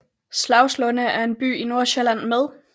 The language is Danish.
Slagslunde er en by i Nordsjælland med